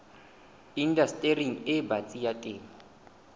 indastering e batsi ya temo